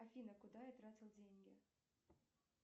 афина куда я тратил деньги